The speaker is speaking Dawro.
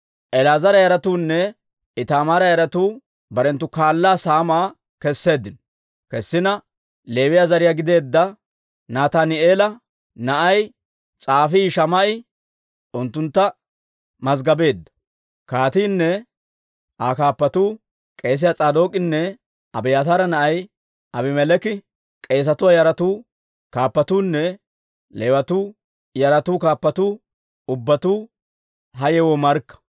El"aazara yaratuunne Itaamaara yaratuu barenttu kaalaa saamaa kesseeddino. Leewiyaa zariyaa gideedda Nataani'eela na'ay s'aafii Shamaa'e unttuntta mazggabeedda. Kaatiinne Aa kaappatuu, k'eesiyaa S'aadook'inne Abiyaataara na'ay Abimeleeki, k'eesatuwaa yaratuu kaappatuunne Leewatuu yaratuu kaappatuu ubbatuu ha yewoo markka.